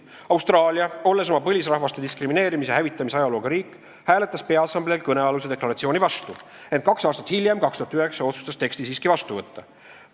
Austraalia, olles oma põlisrahvaste diskrimineerimise ja hävitamise ajalooga riik, hääletas ÜRO Peaassambleel kõnealuse deklaratsiooni vastu, ent kaks aastat hiljem otsustas teksti siiski vastu võtta.